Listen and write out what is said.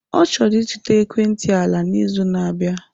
Ọ chọrọ ịzụta ekwentị ala n'izu na-abịa.